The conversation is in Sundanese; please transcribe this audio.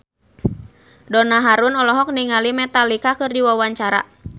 Donna Harun olohok ningali Metallica keur diwawancara